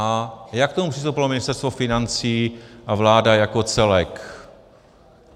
A jak k tomu přistoupilo Ministerstvo financí a vláda jako celek?